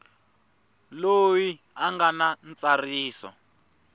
loyi a nga na ntsariso